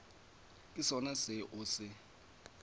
ke sona seo o se